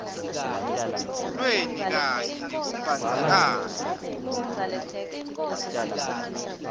lweni kanye nekumbandzakanya